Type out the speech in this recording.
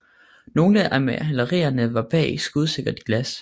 Nogle af malerierne var bag skudsikkert glas